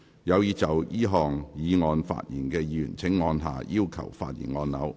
有意就這項議案發言的議員請按下"要求發言"按鈕。